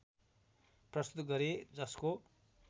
प्रस्तुत गरे जसको